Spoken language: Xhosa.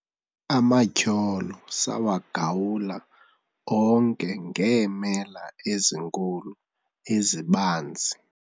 amatyholo sawagawula onke ngeemela ezinkulu ezibanzi